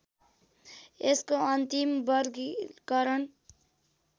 यसको अन्तिम वर्गीकरण